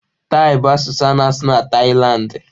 Taị bụ asụsụ a na-asụ na Taịlandị.